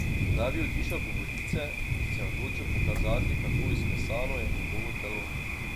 Da bi utišal govorice, se je odločil pokazati, kako izklesano je njegovo telo.